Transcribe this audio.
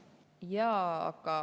Jaa.